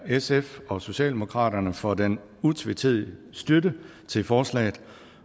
sf og socialdemokratiet for den utvetydige støtte til forslaget